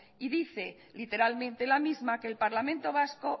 y dice literalmente la misma que el parlamento vasco